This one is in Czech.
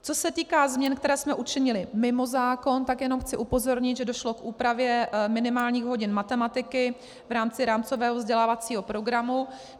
Co se týká změn, které jsme učinili mimo zákon, tak jenom chci upozornit, že došlo k úpravě minimálních hodin matematiky v rámci rámcového vzdělávacího programu.